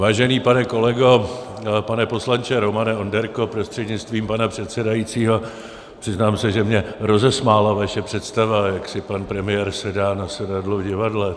Vážený pane kolego, pane poslanče Romane Onderko prostřednictvím pana předsedajícího, přiznám se, že mě rozesmála vaše představa, jak si pan premiér sedá na sedadlo v divadle.